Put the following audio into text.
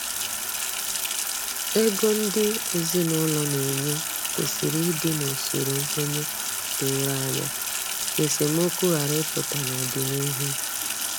Ego ndị ezinụlọ na enye kwesịrị ịdị n’usoro nkwenye doro anya, ka esemokwu ghara ịpụta n’ọdịnihu